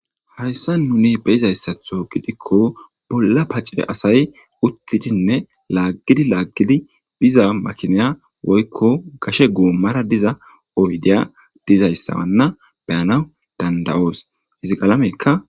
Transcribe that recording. Hayssa nuni beyiza issatho gidikko bolla pacce asay uttidinne laaggidi laaggidi biza makineya woykko gashe goommara diza oyddeya dizay issa wanna beyanaw dandayoos. Hizi qalamekka.